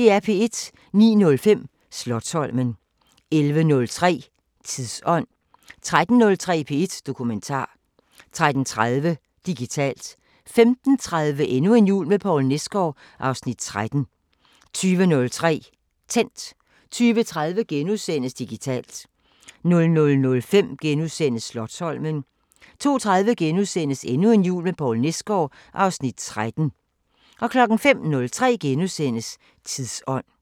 09:05: Slotsholmen 11:03: Tidsånd 13:03: P1 Dokumentar 13:30: Digitalt 15:30: Endnu en jul med Poul Nesgaard (Afs. 13) 20:03: Tændt 20:30: Digitalt * 00:05: Slotsholmen * 02:30: Endnu en jul med Poul Nesgaard (Afs. 13)* 05:03: Tidsånd *